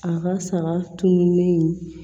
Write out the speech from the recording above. A ka saga tununnen in